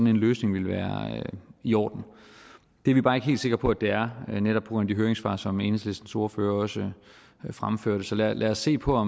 en løsning vil være i orden det er vi bare ikke helt sikre på at det er netop på grund af de høringssvar som enhedslistens ordfører også fremførte så lad os se på